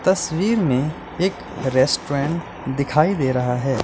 तस्वीर में एक रेस्टोरेंट दिखाई दे रहा है।